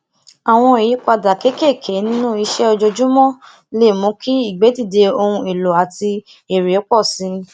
àwọn ìyípadà kéékèèké nínú iṣe ojoojúmó lè mú ki igbedide ohun eloo ati ere po si